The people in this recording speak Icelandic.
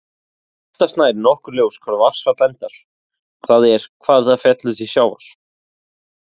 Oftast nær er nokkuð ljóst hvar vatnsfall endar, það er hvar það fellur til sjávar.